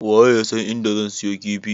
Waye yasan inda zan siyo kifi?